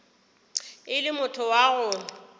e le motho wa go